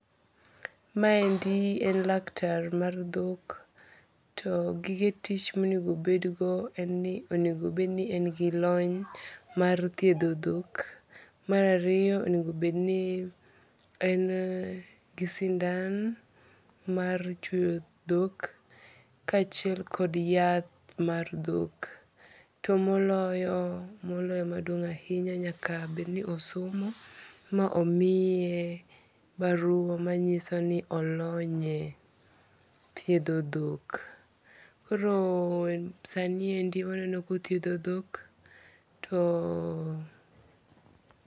Ma endi en laktar mar dhok to gige tich monego obedgo en ni, onego obedni en gi lony mar thiedho dhok. Mar ariyo onego obednii en gi sindan mar chuoyo dhok kachiel kod yath mar dhok. To moloyo moloyo maduong' ahinya nyaka bedni osomo ma omiye barua ma nyisoni olonye thiedho dhok. Koro sani endi waneno kothiedho dhok too